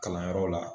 Kalanyɔrɔ la